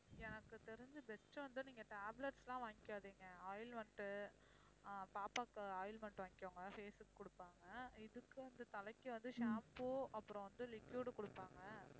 எனக்கு தெரிஞ்சி best வந்து நீங்க tablets லாம் வாங்கிக்காதீங்க ointment உ ஆஹ் பாப்பாவுக்கு ointment வாங்கிக்கோங்க face க்கு குடுப்பாங்க இதுக்கும் வந்து தலைக்கு வந்து shampoo அப்புறம் வந்து liquid கொடுப்பாங்க